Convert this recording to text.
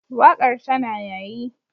Waƙar tana yayi.